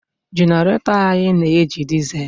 Genarato anyị na-eji disel